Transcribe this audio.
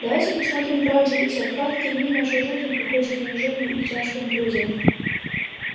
давайте посмотрим правде в лицо краткие дни нашей жизни проходят в унижении и тяжком труде